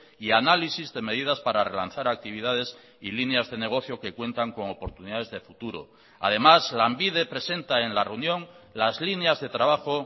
y análisis de medidas para relanzar actividades y líneas de negocio que cuentan con oportunidades de futuro además lanbide presenta en la reunión las líneas de trabajo